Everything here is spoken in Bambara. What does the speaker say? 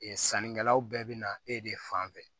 Ee sannikɛlaw bɛɛ bɛ na e de fan fɛ